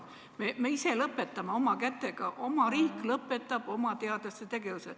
Me ise lõpetame oma kätega, oma riik lõpetab oma teadlaste tegevuse.